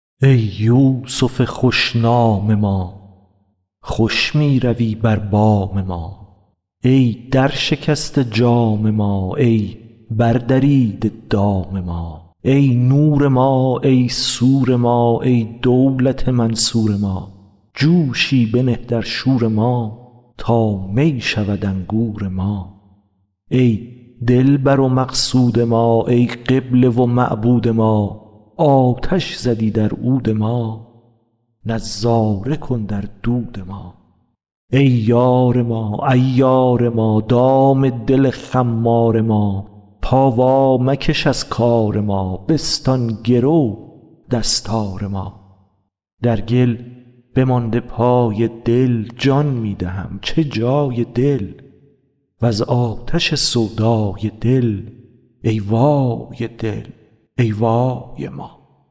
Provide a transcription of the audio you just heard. ای یوسف خوش نام ما خوش می روی بر بام ما ای درشکسته جام ما ای بردریده دام ما ای نور ما ای سور ما ای دولت منصور ما جوشی بنه در شور ما تا می شود انگور ما ای دلبر و مقصود ما ای قبله و معبود ما آتش زدی در عود ما نظاره کن در دود ما ای یار ما عیار ما دام دل خمار ما پا وامکش از کار ما بستان گرو دستار ما در گل بمانده پای دل جان می دهم چه جای دل وز آتش سودای دل ای وای دل ای وای ما